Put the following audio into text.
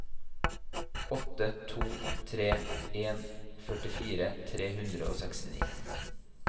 åtte to tre en førtifire tre hundre og sekstini